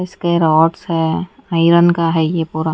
इसके रॉड्स है आयरन के ये पूरा--